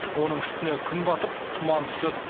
оның үстіне күн батып тұман түседі